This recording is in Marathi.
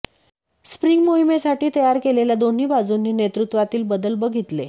स्प्रिंग मोहिमेसाठी तयार केलेल्या दोन्ही बाजूंनी नेतृत्वातील बदल बघितले